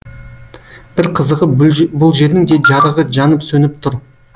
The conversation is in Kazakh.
бір қызығы бұлжердің де жарығы жанып сөніп тұр